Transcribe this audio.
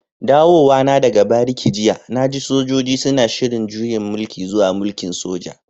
Dawowa na daga bariki jiya na ji sojoji suna shiri'n juyan mulki zuwa mulki'n soja.